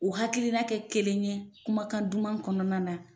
O hakilina kɛ kelen ye kumakan duman kɔnɔna na.